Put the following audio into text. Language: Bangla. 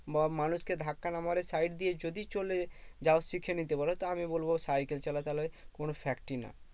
বা মানুষকে ধাক্কা না মেরে side দিয়ে যদি চলে যাও শিখে নিতে পারো। তো আমি বলবো সাইকেল চালা তাহলে কোনো fact ই না।